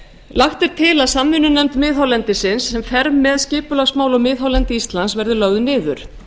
lagt er til að samvinnunefnd miðhálendisins sem fer með skipulagsmál á miðhálendi íslands verði lögð niður